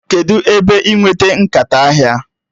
Kedụ ebe ị nweta nkata ahịa?